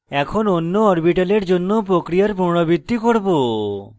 এখন অন্য orbital জন্য প্রক্রিয়ার পুনরাবৃত্তি করব